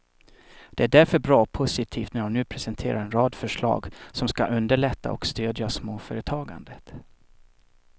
Det är därför bra och positivt när hon nu presenterar en rad förslag som skall underlätta och stödja småföretagandet.